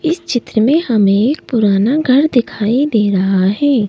इस चित्र में हमें एक पुराना घर दिखाई दे रहा है।